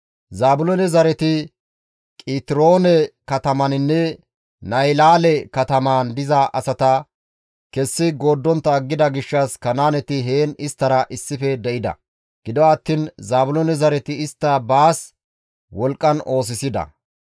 Zaabiloone zareti Qitiroone katamaninne Nahilaale katamaan diza asata kessi gooddontta aggida gishshas Kanaaneti heen isttara issife de7ida; gido attiin Zaabiloone zareti istta baas wolqqan oosisida.